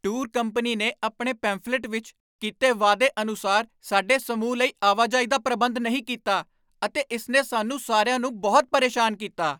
Tour company ਨੇ ਆਪਣੇ pamphlet ਵਿੱਚ ਕੀਤੇ ਵਾਅਦੇ ਅਨੁਸਾਰ ਸਾਡੇ ਸਮੂਹ ਲਈ ਆਵਾਜਾਈ ਦਾ ਪ੍ਰਬੰਧ ਨਹੀਂ ਕੀਤਾ ਅਤੇ ਇਸ ਨੇ ਸਾਨੂੰ ਸਾਰਿਆਂ ਨੂੰ ਬਹੁਤ ਪਰੇਸ਼ਾਨ ਕੀਤਾ।